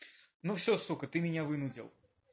ну всё сука ты меня вынудил